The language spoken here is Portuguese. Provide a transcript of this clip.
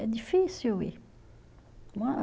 É difícil ir.